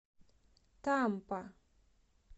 тампа